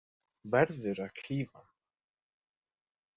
Verður að klífa hann.